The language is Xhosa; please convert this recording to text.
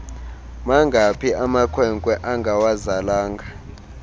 mangaphi amakwenkwe angawazalanga